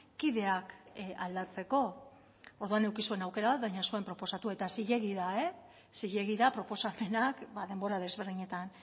kideak aldatzeko orduan eduki zuen aukera baina ez zuen proposatu eta zilegi da e zilegi da proposamenak denbora desberdinetan